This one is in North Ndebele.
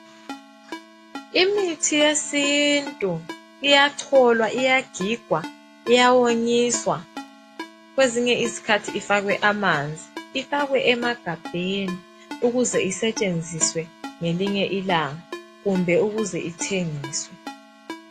Imithi yesintu iyacholwa, iyagigwa, iyawonyiswa kwezinye izikhathi ifakwe amanzi. Ifakwe emagabheni ukuze isetshenziswe ngelinye ilanga kumbe ukuze ithengiswe.